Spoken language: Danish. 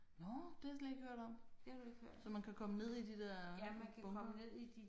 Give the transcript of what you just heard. Nåh det har jeg slet ikke hørt om. Så man kan komme ned i de der bunkere?